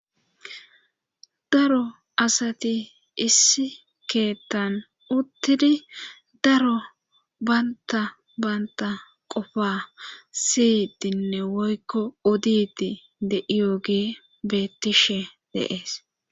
Daro asati issi keettan uttidi daro banta banta qofa siyidinne woykko oditi de7iyogee beettishe deees